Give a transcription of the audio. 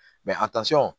a